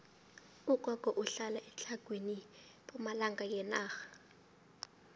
ugogo uhlala etlhagwini pumalanga yenarha